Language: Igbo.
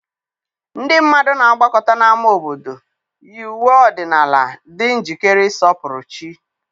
ndị mmadụ na-agbakọta n'ámá obodo, yi uwe ọdịnala, dị njikere ịsọpụrụ chi.